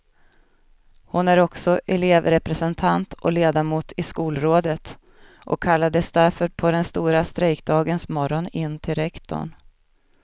Hon är också elevrepresentant och ledamot i skolrådet och kallades därför på den stora strejkdagens morgon in till rektorn.